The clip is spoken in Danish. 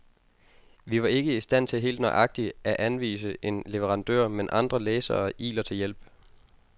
Vi var ikke i stand til helt nøjagtigt af anvise en leverandør, men andre læsere iler til hjælp.